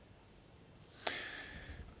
og